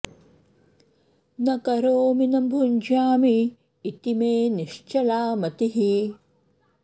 न करोमि न भुञ्जामि इति मे निश्चला मतिः